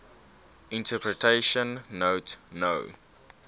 interpretation note no